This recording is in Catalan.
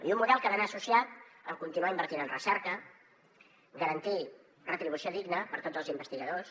i un model que ha d’anar associat a continuar invertint en recerca garantir retribució digna per a tots els investigadors